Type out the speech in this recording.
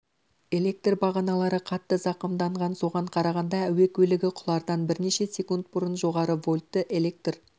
электр бағаналары қатты зақымданған соған қарағанда әуе көлігі құлардан бірнеше секунд бұрын жоғары вольтті әлектр